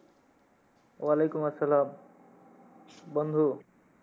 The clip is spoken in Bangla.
ওয়ালাইকুম আসসালাম বন্ধু,